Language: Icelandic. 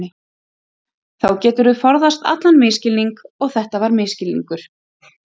Þá geturðu forðast allan misskilning og þetta var misskilningur.